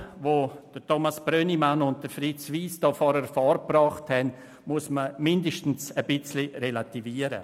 Das Lob, das Grossrat Brönnimann und Grossrat Wyss zuvor ausgesprochen haben, muss zumindest relativiert werden.